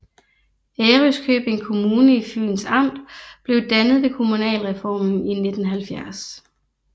Ærøskøbing Kommune i Fyns Amt blev dannet ved kommunalreformen i 1970